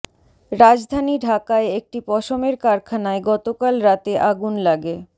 রাজধানী ঢাকায় একটি পশমের কারখানায় গতকাল রাতে আগুন লাগে